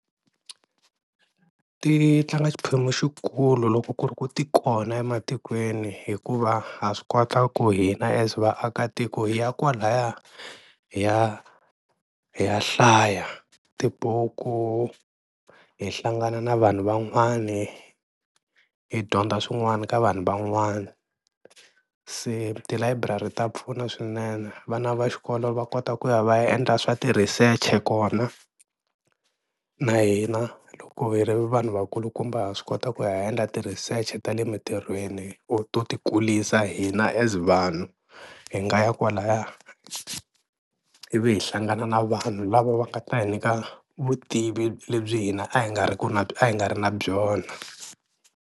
Ti tlanga xiphemu xikulu loko ku ri ku ti kona ematikweni hikuva ha swi kota ku hina as vaakatiko ya kwalaya hi ya hi ya hlaya tibuku hi hlangana na vanhu van'wani hi dyondza swin'wana ka vanhu van'wana, se tilayiburari ta pfuna swinene vana va xikolo va kota ku ya va endla swa ti-research kona na hina loko hi ri vanhu vakulukumba ha swi kota ku ya endla ti-research ta le mintirhweni or to ti kulisa hina as vanhu, hi nga ya kwalaya ivi hi hlangana na vanhu lava va nga ta hi nyika vutivi lebyi hina a hi nga ri a hi nga ri na byona.